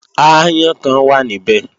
Aáyán kan wà níbẹ̀